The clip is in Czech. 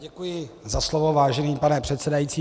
Děkuji za slovo, vážený pane předsedající.